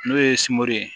N'o ye sungolo ye